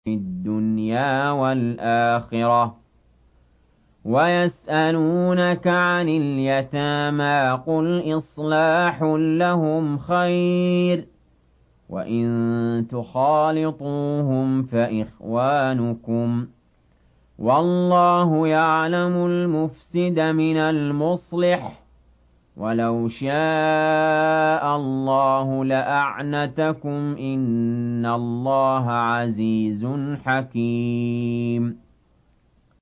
فِي الدُّنْيَا وَالْآخِرَةِ ۗ وَيَسْأَلُونَكَ عَنِ الْيَتَامَىٰ ۖ قُلْ إِصْلَاحٌ لَّهُمْ خَيْرٌ ۖ وَإِن تُخَالِطُوهُمْ فَإِخْوَانُكُمْ ۚ وَاللَّهُ يَعْلَمُ الْمُفْسِدَ مِنَ الْمُصْلِحِ ۚ وَلَوْ شَاءَ اللَّهُ لَأَعْنَتَكُمْ ۚ إِنَّ اللَّهَ عَزِيزٌ حَكِيمٌ